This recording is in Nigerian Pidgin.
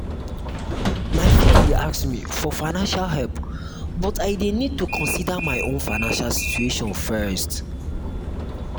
my friend dey ask me for financial help but i dey need to consider my own financial situation first.